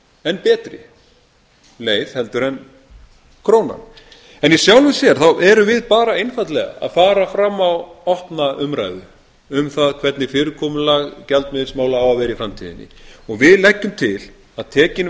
en betri leið heldur en krónan í sjálfu sér erum við bara einfaldlega að fara fram á opna umræðu um það hvernig fyrirkomulag gjaldmiðilsmála á að vera í framtíðinni við leggjum til að tekin